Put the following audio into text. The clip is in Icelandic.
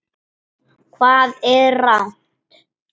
Hvað er rangt?